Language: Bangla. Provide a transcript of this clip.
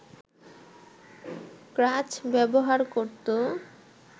ক্রাচ ব্যবহার করত